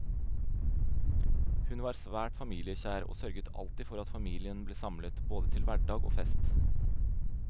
Hun var svært familiekjær, og sørget alltid for at familien ble samlet, både til hverdag og fest.